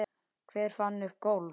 Hver fann upp golf?